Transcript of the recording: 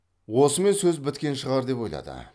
осымен сөз біткен шығар деп ойлады